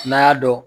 N'a y'a dɔn